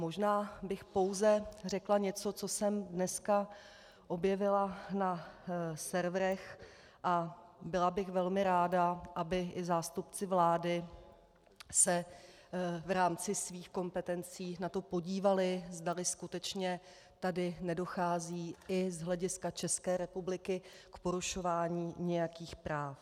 Možná bych pouze řekla něco, co jsem dneska objevila na serverech, a byla bych velmi ráda, aby i zástupci vlády se v rámci svých kompetencí na to podívali, zdali skutečně tady nedochází i z hlediska České republiky k porušování nějakých práv.